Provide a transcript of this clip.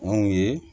Anw ye